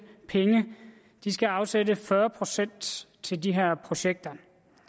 penge de skal afsætte fyrre procent til de her projekter